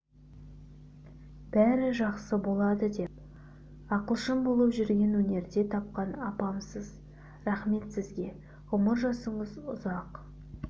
бәрі жақсы болады деп ақылшым болып жүрген өнерде тапқан апамсыз рақмет сізге ғұмыр жасыңыз ұзақ